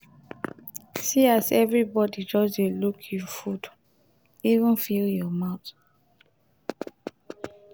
see as everybody just dey look you food even fill your mouth.